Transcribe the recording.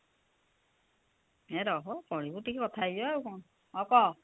ଇଏ ରହ ପଢ଼ିବୁ ଟିକେ କଥା ହେଇଜା ଆଉ କଣ ହଉ କହ